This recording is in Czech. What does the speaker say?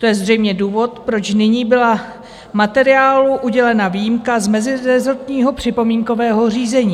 To je zřejmě důvod, proč nyní byla materiálu udělena výjimka z mezirezortního připomínkového řízení.